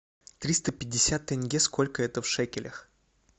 триста пятьдесят тенге сколько это в шекелях